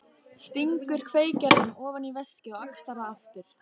Stingur kveikjaranum ofan í veskið og axlar það aftur.